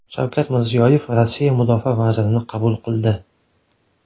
Shavkat Mirziyoyev Rossiya mudofaa vazirini qabul qildi .